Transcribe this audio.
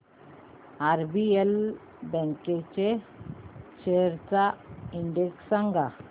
RBL bank shares चा index सांगा